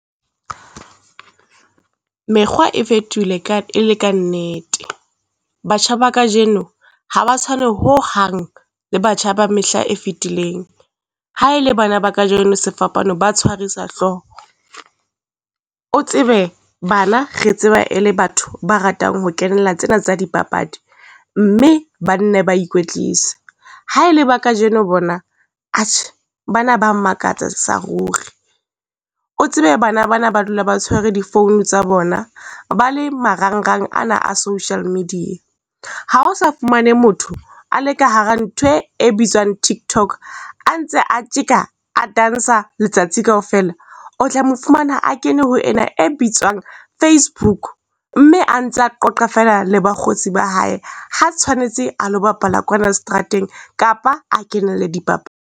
Mekgwa e fetohile ka e le kannete, batjha ba kajeno ha ba tshwane ho hang le batjha ba mehla e fetileng. Ha e le bana ba kajeno sefapano ba tshwarisa hlooho. O tsebe bana re tseba e le batho ba ratang ho kenela tsena tsa dipapadi, mme ba nne ba ikwetlise. Ha e le ba kajeno bona atjhe bana ba makatsa sa ruri, o tsebe bana bana ba dula ba tshwere di-phone tsa bona ba le marangrang ana a social media. Ha o sa fumane motho a le ka hara ntho e e bitswang tiktok, a ntse a tjeka, a dantsha letsatsi kaofela, o tla mo fumana a kene ho ena e bitswang Facebook, mme a ntsa qoqa feela le bakgotsi ba hae. Ha tshwanetse a lo bapala kwana strateng kapa a kenele .